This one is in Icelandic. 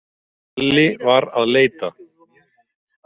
Alli var að leita.